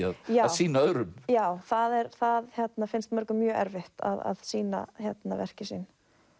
sýna öðrum já það það finnst mörgum mjög erfitt að sýna verkin sín